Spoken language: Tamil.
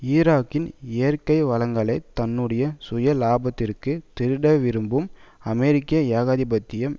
ஈராக்கின் இயற்கை வளங்களை தன்னுடைய சுய லாபத்திற்கு திருட விரும்பும் அமெரிக்க ஏகாதிபத்தியம்